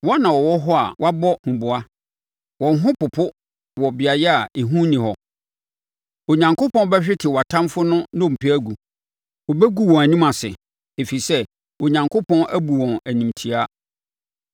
Wɔn na wɔwɔ hɔ a wɔabɔ huboa! Wɔn ho popo wɔ beaeɛ a ehu nni hɔ. Onyankopɔn bɛhwete wʼatamfoɔ no nnompe agu; wobɛgu wɔn anim ase, ɛfiri sɛ Onyankopɔn abu wɔn animtiaa.